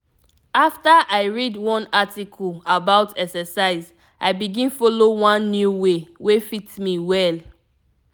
after i read one article about exercise i begin follow one new way wey fit me well.